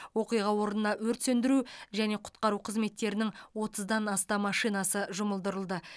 оқиға орнына өрт сөндіру және құтқару қызметтерінің отыздан астам машинасы жұмылдырылды